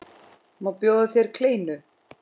Má bjóða þér kleinu?